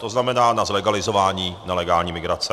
To znamená na zlegalizování nelegální migrace.